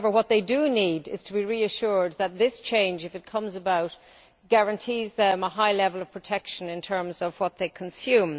However, what they do need is to be reassured that this change, if it comes about, guarantees them a high level of protection in terms of what they consume.